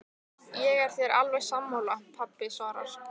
Ég er þér alveg sammála, pabbi svarar